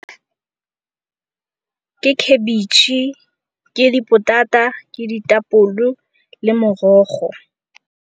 Ke khabitšhe, ke dipotata, ke ditapole le morogo.